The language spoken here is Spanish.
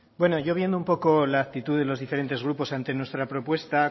bueno yo viendo un poco la actitud de los diferentes grupos ante nuestra propuesta